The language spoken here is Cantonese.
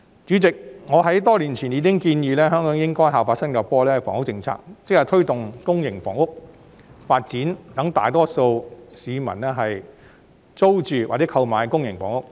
主席，我已在多年前建議，香港應效法新加坡的房屋政策，即推動公營房屋發展，讓大多數市民租住或購買公營房屋。